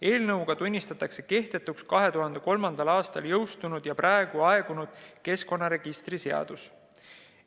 Eelnõuga tunnistatakse kehtetuks 2003. aastal jõustunud ja praeguseks aegunud keskkonnaregistri seadus.